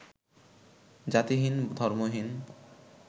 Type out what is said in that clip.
জাতিহীন ধর্মহীন